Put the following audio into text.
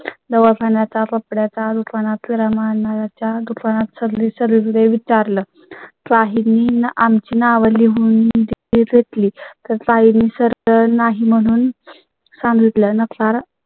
दवाखान्या चा कपड्या च्या दुकाना तील सामाना च्या दुकानात सागरी सर्वे विचारलं. काही नाही आम ची नावं लिहून. घेतली तर काहींनी सरळ नाही म्हणून सांगितलं नकार